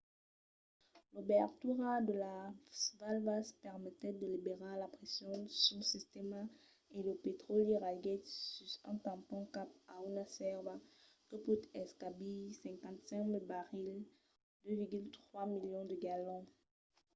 l’obertura de las valvas permetèt de liberar la pression sul sistèma e lo petròli ragèt sus un tampon cap a una sèrva que pòt encabir 55 000 barrils 2,3 milions de galons